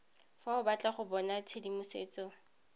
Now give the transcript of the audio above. fa o batla go bonatshedimosetso